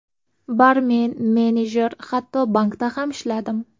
Barmen, menejer, hatto bankda ham ishladim.